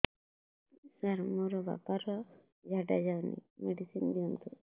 ସାର ମୋର ବାପା ର ଝାଡା ଯାଉନି ମେଡିସିନ ଦିଅନ୍ତୁ